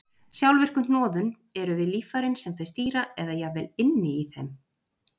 sjálfvirku hnoðun eru við líffærin sem þau stýra eða jafnvel inni í þeim